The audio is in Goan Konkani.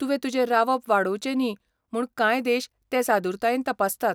तुवें तुजें रावप वाडोवचें न्ही म्हूण कांय देश तें सादुरतायेन तपासतात.